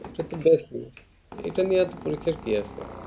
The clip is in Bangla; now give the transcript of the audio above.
এটাতো এটা নিয়ে এতো পরীক্ষার কি আছে